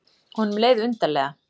Honum leið undarlega.